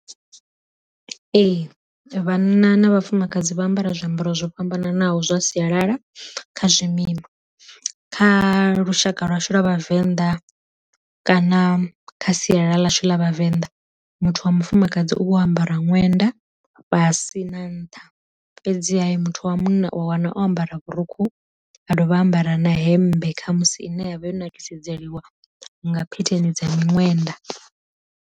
Ee vhana na vhafumakadzi vha ambara zwiambaro zwo fhambananaho zwa sialala kha zwimima, kha lushaka lwashu lwa vhavenḓa kana kha sialala ḽashu ḽa vhavenḓa muthu wa mufumakadzi u vho ambara ṅwenda fhasi na nṱha, fhedzi muthu wa munna u a wana o ambara vhurukhu a dovha a ambara na hemmbe khamusi ine yavha yo nakisedzeliwa nga phetheni dza miṅwenda.